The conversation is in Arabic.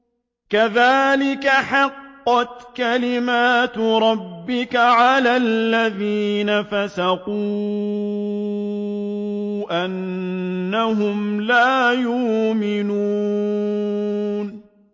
كَذَٰلِكَ حَقَّتْ كَلِمَتُ رَبِّكَ عَلَى الَّذِينَ فَسَقُوا أَنَّهُمْ لَا يُؤْمِنُونَ